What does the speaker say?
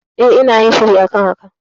E, ina yin shiri a kan haka.